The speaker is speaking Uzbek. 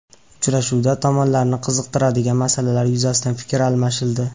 Uchrashuvda tomonlarni qiziqtirgan masalalar yuzasidan fikr almashildi.